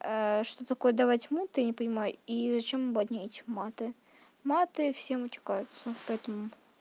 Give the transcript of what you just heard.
что такое давать маты я не понимаю и зачем ебать мне эти маты маты все матюкаются поэтому